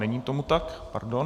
Není tomu tak, pardon.